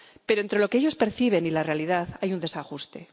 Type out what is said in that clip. Pero entre lo que ellos perciben y la realidad hay un desajuste.